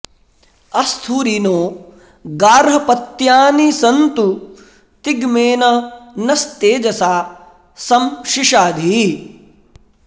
अ॒स्थू॒रि नो॒ गार्ह॑पत्यानि सन्तु ति॒ग्मेन॑ न॒स्तेज॑सा॒ सं शि॑शाधि